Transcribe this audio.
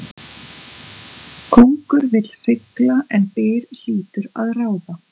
Kóngur vill sigla en byr hlýtur að ráða.